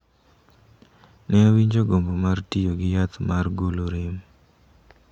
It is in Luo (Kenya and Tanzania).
Ne awinjo gombo mar tiyo gi yath mar golo rem.